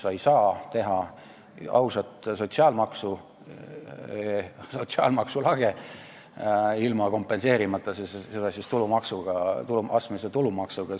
Sa ei saa teha ausat sotsiaalmaksu lage ilma kompenseerimata seda astmelise tulumaksuga.